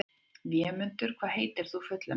Vémundur, hvað heitir þú fullu nafni?